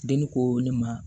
Denni ko ne ma